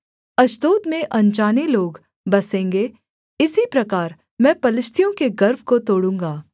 Ashdod में अनजाने लोग बसेंगे इसी प्रकार मैं पलिश्तियों के गर्व को तोड़ूँगा